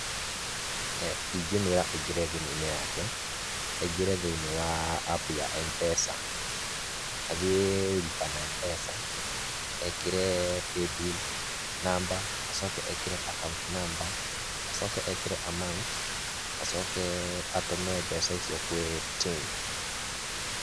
Ingĩmwĩra aingĩre thĩ-inĩ wa thimũ yake, aingĩre thĩ-inĩ wa app ya M-Pesa, athiĩ lipa na M-Pesa, ekĩre paybill number, acoke ekĩre account number acoke ekĩre amount acoke atũme mbeca icio kwĩ ting.